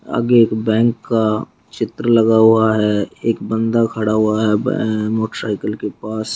आगे एक बैंक का चित्र लगा हुआ है। एक बंदा खड़ा हुआ है बै मोटरसाइकिल के पास।